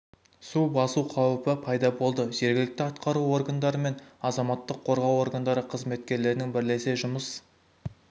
су басу қауіпі пайда болды жергілікті атқару органдары мен азаматтық қорғау органдары қызметкерлерінің бірлесе жұмыс